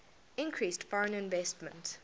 increased foreign investment